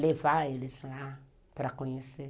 Levar eles lá para para conhecer.